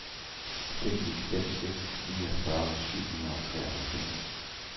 fem ni fem seks niogfyrre syv hundrede og treoghalvfems